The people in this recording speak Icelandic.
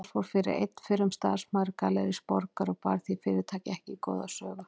Þar fór fyrir einn fyrrum starfsmaður Gallerís Borgar og bar því fyrirtæki ekki góða sögu.